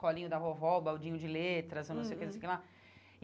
Colinho da vovó, baldinho de letras, eu não sei o que, não sei o que lá.